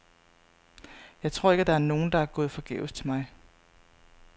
Jeg tror ikke, at der er nogen, der er gået forgæves til mig.